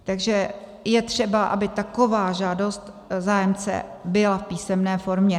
Takže je třeba, aby taková žádost zájemce byla v písemné formě.